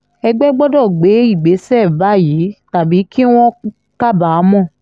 ẹgbẹ́ gbọ́dọ̀ gbé ìgbésẹ̀ báyìí tàbí kí wọ́n kábàámọ̀